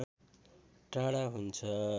टाढा हुन्छ